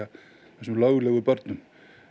þessum löglegu börnum